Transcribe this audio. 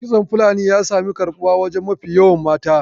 Kitson fulani ya sami karbuwa a wajen mafi yawan mata